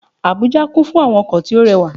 Àbújá kún fún àwọn ọkò tí ó re wà